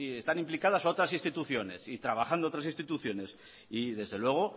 están implicadas otras instituciones y trabajando otras instituciones y desde luego